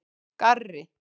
Garri